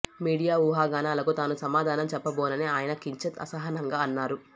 media ఊహాగానాలకు తాను సమాధానం చెప్పబోనని ఆయన కించిత్ అసహనంగా అన్నారు